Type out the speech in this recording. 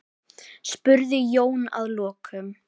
spurði Jón að lokum.